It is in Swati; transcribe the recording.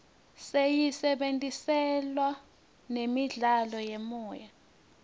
siyisebentisela nemidlalo yemoya